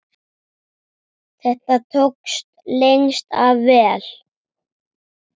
Þetta tókst lengst af vel.